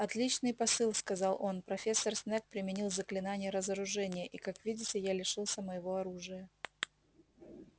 отличный посыл сказал он профессор снегг применил заклинание разоружения и как видите я лишился моего оружия